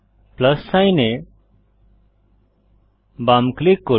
plus sign এ বাম click করুন